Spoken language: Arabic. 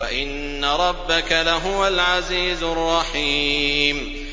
وَإِنَّ رَبَّكَ لَهُوَ الْعَزِيزُ الرَّحِيمُ